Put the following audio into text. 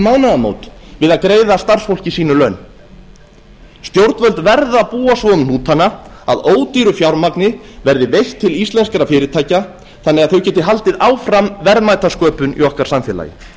mánaðamót við að greiða starfsfólki sínu laun stjórnvöld verða að búa svo um hnútana að ódýru fjármagni verði veitt til íslenskra fyrirtækja þannig að þau geti haldið áfram verðmætasköpun í okkar samfélagi